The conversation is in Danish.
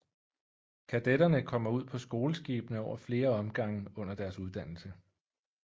Kadetterne kommer ud på skoleskibene over flere omgange under deres uddannelse